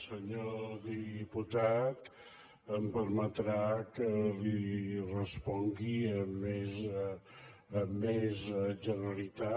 senyor diputat em permetrà que li respongui amb més generalitat